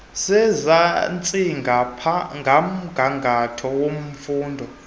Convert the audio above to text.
sezantsi komgangatho wemfundo